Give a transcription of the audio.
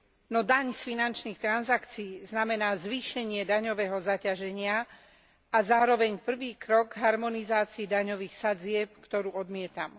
No daň z finančných transakcií znamená zvýšenie daňového zaťaženia a zároveň prvý krok k harmonizácii daňových sadzieb, ktorú odmietam.